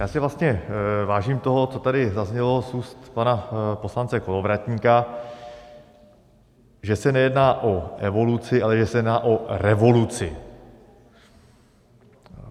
Já si vlastně vážím toho, co tady zaznělo z úst pana poslance Kolovratníka, že se nejedná o evoluci, ale že se jedná o revoluci.